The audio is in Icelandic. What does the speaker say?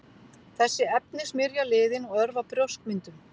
þessi efni smyrja liðinn og örva brjóskmyndun